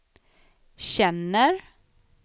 känner